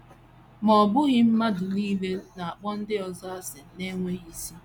Ma ọ ọ bụghị mmadụ nile na - akpọ ndị ọzọ asị na - enweghị isi.